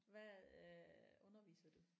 Hvad øh underviser du?